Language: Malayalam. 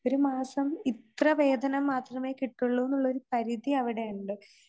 ഒരു മാസം ഇത്ര വേദനം മാത്രമേ കിട്ടുവൊള്ളൂന്നുള്ളൊരു പരിധി അവിടെയുണ്ട്.